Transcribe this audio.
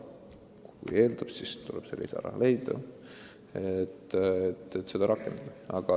Kui vaja, siis tuleb see lisaraha leida, et süsteem rakendada.